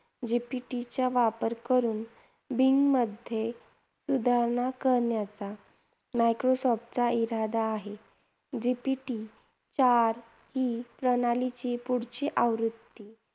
GPT चा वापर करून bing मध्ये सुधारणा करण्याचा मायक्रोसॉफ्टचा इरादा आहे. GPT चार ही प्रणालीची पुढची आवृत्ती